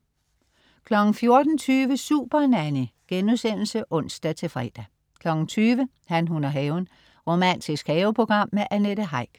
14.20 Supernanny* (ons-fre) 20.00 Han, hun og haven. Romantisk haveprogram med Annette Heick